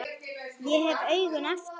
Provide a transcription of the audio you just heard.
Ég hef augun aftur.